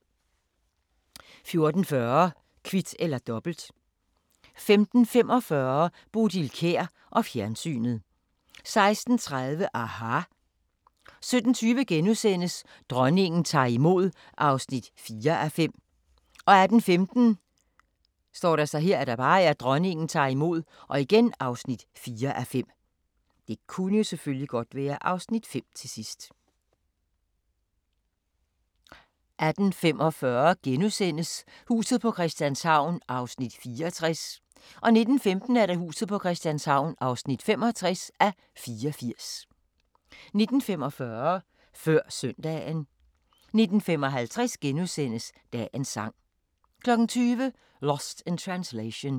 14:40: Kvit eller Dobbelt 15:45: Bodil Kjer og fjernsynet 16:30: aHA! 17:20: Dronningen tager imod (4:5)* 18:15: Dronningen tager imod (4:5) 18:45: Huset på Christianshavn (64:84)* 19:15: Huset på Christianshavn (65:84) 19:45: Før søndagen 19:55: Dagens sang * 20:00: Lost in Translation